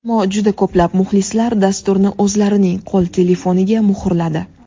Ammo juda ko‘plab muxlislar dasturni o‘zlarining qo‘l telefoniga muhrladi.